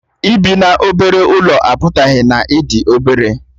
Ịbi n'obere ụlọ apụtaghị na ị dị obere